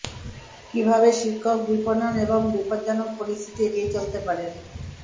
কিভাবে শিক্ষক বিপণন এবং বিপজ্জনক পরিস্থিতি এড়িয়ে চলতে পারেন